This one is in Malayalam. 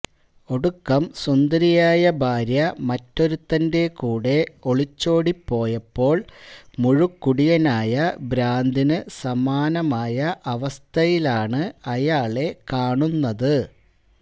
ഒടുക്കം സുന്ദരിയായ ഭാര്യ മറ്റൊരുത്തന്റെ കൂടെ ഒളിച്ചോടിപ്പോയപ്പോൾ മുഴുക്കുടിയനായ ഭ്രാന്തിനു സമാനമായ അവസ്ഥയിലാണ് അയാളെ കാണുന്നത്